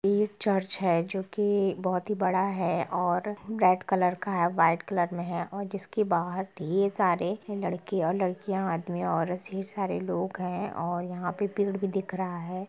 ये एक चर्च है जो कि बहुत ही बड़ा है और रेड कलर का है व्हाइट कलर में है और जिसके बाहर ढेर सारे लड़के और लड़कियां आदमी औरत ढेर सारे लोग हैं और यहाँ पे पेड़ भी दिख रहा है।